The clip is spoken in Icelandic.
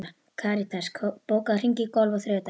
Karitas, bókaðu hring í golf á þriðjudaginn.